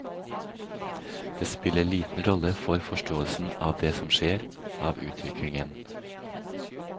De spiller liten rolle for forståelsen av det som skjer, av utviklingen.